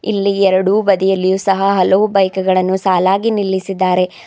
ಇಲ್ಲಿ ಎರಡು ಬದಿಯಲ್ಲಿಯೂ ಸಹ ಹಲವು ಬೈಕ್ ಗಳನ್ನು ಸಾಲಗಿ ನಿಲ್ಲಿಸಿದ್ದಾರೆ.